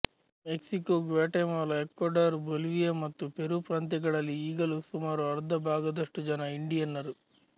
Mexico Guatemala Ecuador Bolivia ಮತ್ತು Peru ಪ್ರಾಂತ್ಯಗಳಲ್ಲಿ ಈಗಲೂ ಸುಮಾರು ಅರ್ಧ ಭಾಗದಷ್ಟು ಜನ ಇಂಡಿಯನ್ನರು